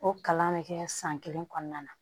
O kalan bɛ kɛ san kelen kɔnɔna na